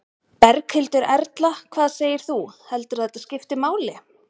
Berghildur Erla: Hvað segir þú, heldur þú að þetta skipti máli?